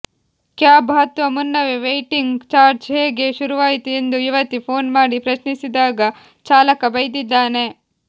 cab ಹತ್ತುವ ಮುನ್ನವೇ waiting charge ಹೇಗೆ ಶುರುವಾಯಿತು ಎಂದು ಯುವತಿ ಫೋನ್ ಮಾಡಿ ಪ್ರಶ್ನಿಸಿದಾಗ ಚಾಲಕ ಬೈದಿದ್ದಾನೆ